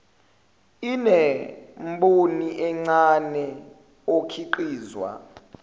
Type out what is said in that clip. inemboni encane okhiqizwa